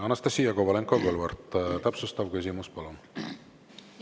Anastassia Kovalenko-Kõlvart, täpsustav küsimus, palun!